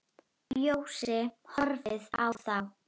Bjössi horfir á þá.